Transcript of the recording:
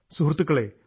കൂട്ടുകാരേ